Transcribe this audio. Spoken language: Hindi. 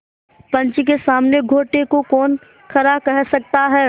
पंच के सामने खोटे को कौन खरा कह सकता है